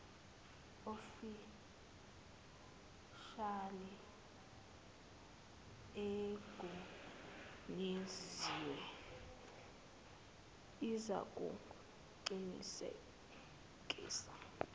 ofishali egunyaziwe izakuqinisekisa